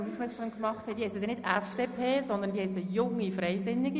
Diese heissen nicht etwa FDP, sondern Jungfreisinnige.